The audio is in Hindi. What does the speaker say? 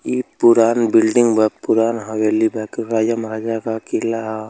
इ पुरान बिल्डिंग बा पुरान हवेली बा कि राजा महाराजा क किला ह।